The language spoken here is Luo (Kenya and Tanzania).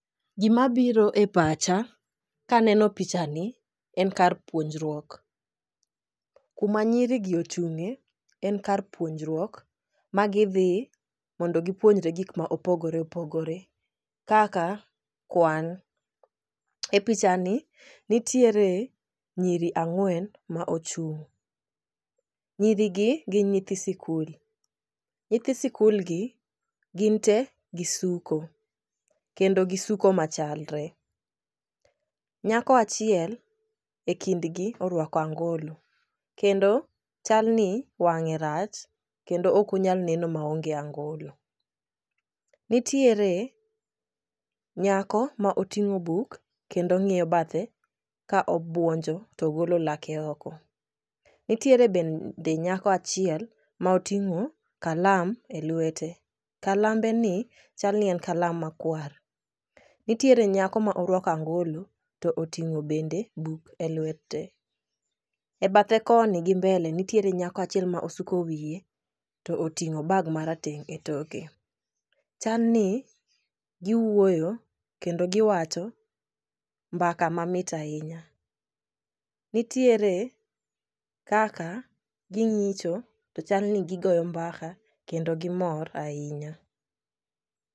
Gimabiro e pacha kaneno pichani en kar puonjruok. Kuma nyirigi ochung'ye en kar puonjruok ,ma gidhi mondo gipuonjre gik ma opogore opogore kaka kwan. E pichani nitiere nyiri ang'wen ma ochung'. Nyirigi gin nyithi sikul. Nyithi sikulgi, gin te gisuko kendo gisuko machalre. Nyako achiel e kindgi orwako angolo, kendo chalni wang'e rach kendo ok onyal neno maonge angolo. Nitiere nyako ma oting'o buk kendo ng'iyo bathe ka obuonjo to ogolo lake oko. Nitiere bende nyako achiel ma oting'o kalam e lwete. Kalambeni chal ni en kalam makwar. Nitiere nyako ma orwako angolo to oting'o bende buk e lwete. E bathe koni gi mbele nitiere nyako achiel ma osuko wiye to oting'o bag marateng' e toke. Chalni giwuoyo kendo giwacho mbaka mamit ahinya. Nitiere kaka ging'cho to chal ni gigoyo mbaka kendo gimor ahinya.